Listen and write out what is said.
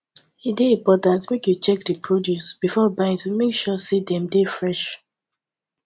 e dey important make you check di produce before buying to make sure say dem dey fresh